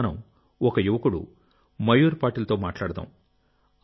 ఈ రోజు మనం ఒక యువకుడు మయూర్ పాటిల్తో మాట్లాడదాం